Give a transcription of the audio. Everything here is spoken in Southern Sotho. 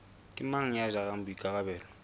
ke mang ya jarang boikarabelo